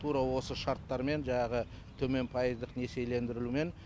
тура осы шарттармен жаңағы төмен пайыздық несиелендірумен